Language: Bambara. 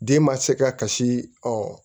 Den ma se ka kasi